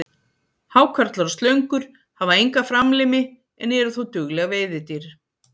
Hákarlar og slöngur hafa enga framlimi en eru þó dugleg veiðidýr.